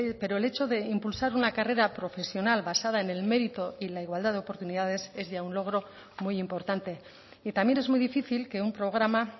pero el hecho de impulsar una carrera profesional basada en el mérito y la igualdad de oportunidades es ya un logro muy importante y también es muy difícil que un programa